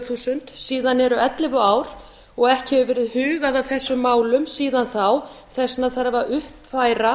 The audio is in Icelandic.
þúsund síðan eru ellefu ár og ekki hefur verið hugað að þessum málum síðan þá þess vegna þarf að